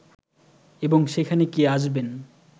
এবং সেখানে কে আসবেন